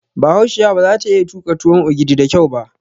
Bahaushiya baza ta iya tuƙa tuwon ogidi da kyau ba